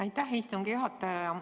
Aitäh, istungi juhataja!